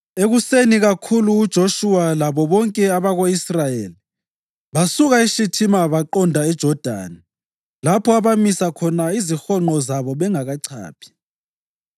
Ekuseni kakhulu uJoshuwa labo bonke abako-Israyeli basuka eShithima baqonda eJodani lapho abamisa khona izihonqo zabo bengakachaphi.